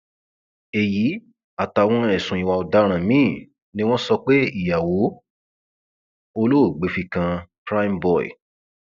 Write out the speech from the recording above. èyí àtàwọn ẹsùn ìwà ọdaràn míín ni wọn sọ pé ìyàwó olóògbé fi kan primeboy